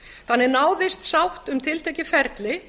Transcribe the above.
þannig náðist sátt um tiltekið ferli